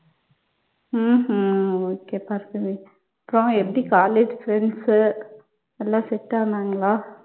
உம் உம் okay பார்கவி. அப்புறம் எப்படி college friends உ எல்லாம் set ஆனாங்களா?